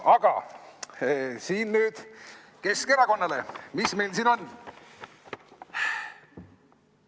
Aga nüüd Keskerakonnale, mis meil siin on?